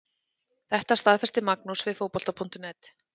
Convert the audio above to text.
Þetta staðfesti Magnús við Fótbolta.net.